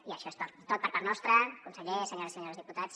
i això és tot per part nostra conseller senyores i senyors diputats